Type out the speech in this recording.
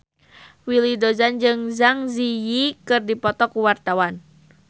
Willy Dozan jeung Zang Zi Yi keur dipoto ku wartawan